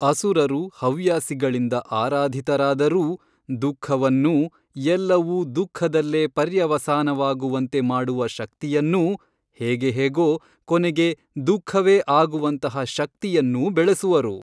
ಅಸುರರು ಹವ್ಯಾಸಿಗಳಿಂದ ಆರಾಧಿತರಾದರೂ ದುಃಖವನ್ನೂ ಎಲ್ಲವೂ ದುಃಖದಲ್ಲೇ ಪರ್ಯವಸಾನವಾಗುವಂತೆ ಮಾಡುವ ಶಕ್ತಿಯನ್ನೂ ಹೇಗೆ ಹೇಗೊ ಕೊನೆಗೆ ದುಃಖವೇ ಆಗುವಂತಹ ಶಕ್ತಿಯನ್ನೂ ಬೆಳೆಸುವರು.